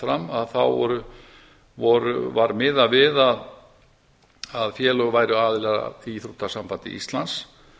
fram þá var miðað við að félög væru aðilar að íþróttasambandi íslands